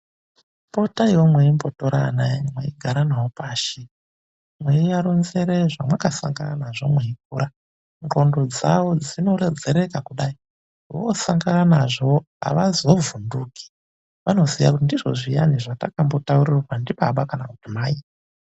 Potaiwo meimbotora ana enyu meigara nawo pashi, meiwaronzere zvamakasangana nazvo mweikura. Nqondo dzawo dzinorodzeka. Kudai vosangane nazvo havazovhunduki vanoziva kuti ndizvo zviya zvatakambotaurirwa ndibaba kana kuti mai.